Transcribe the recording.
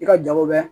I ka jago bɛ